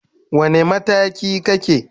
Wane mataki kake?